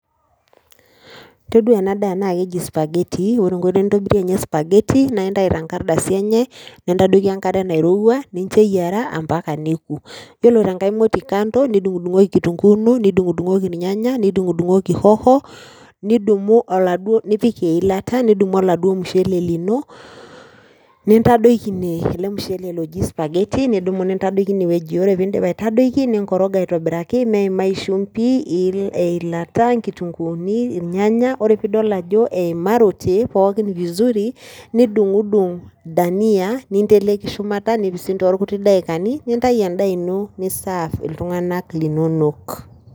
Toduaa ena daa naakeji spaghetti ore enkoitoi nintobirie ninye  spaghetti naa intai tenkardasi enye nintodoiki enkare nairowua ninchoeyiara ampaka neeku. Iyiolo tengai moti kando nidung'udung'oki kitunguu ino nidung'udung'oki ilnyanya nidung'udung'oki hoho nidumu oladuo nipik eilata nidumu oladuo mushele lino nintadoiki ine ele mushele loji spaghetti nidumu nintadoiki inewueji ore piindip aitadoiki ninkoroga aitobiraki meimai shumbi eilata nkitunguuni ilnyanya, ore pidol ajo eimarote pookin vizuri nidung'udung' dania ninteleku shumata nipising toolkuti daikani nintayu endaa ino nisaaff iltung'anak linonok.